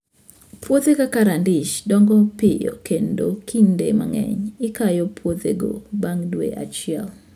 Puothe kaka radish dongo piyo kendo kinde mang'eny ikayo puothego bang' dwe achiel.